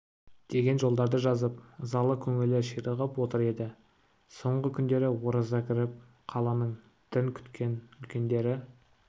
деген жолдарды жазып ызалы көңілі ширығып отыр еді соңғы күндері ораза кіріп қаланың дін күткен үлкендері